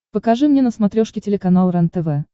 покажи мне на смотрешке телеканал рентв